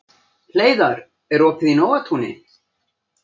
Hleiðar, er opið í Nóatúni?